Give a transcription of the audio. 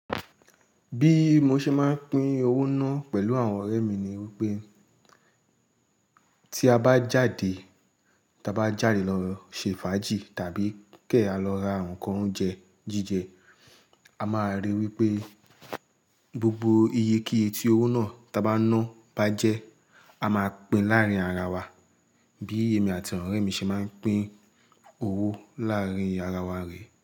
Bí mo ṣe máa ń pín owó náà pẹ̀lú àwọn ọ̀rẹ́ mi ni wípé tí a bá jáde, ta bá jáde lọ ṣe fàájì tàbí kí èèyàn lọ ra ǹkan oúnjẹ jíjẹ, a máa ríi wípé gbogbo iye kíye tí owó náà ta bá ná bá jẹ́, a máa pín láàárín ara wa. Bí è mi àti àwọn ọ̀rẹ́ mi ṣe máa ń pín owó láàárín ara wa re.